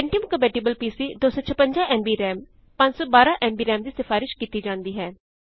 Pentium compatible PC 256 MB RAM 512 MB ਰਾਮਦੀ ਸਿਫ਼ਾਰਿਸ਼ ਕੀਤੀ ਜਾਂਦੀ ਹੈ